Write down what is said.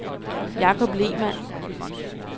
Jacob Lehmann